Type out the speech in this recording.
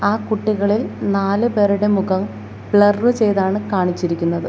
ആ കുട്ടികളിൽ നാലുപേരുടെ മുഖം ബ്ലറർ ചെയ്താണ് കാണിച്ചിരിക്കുന്നത്.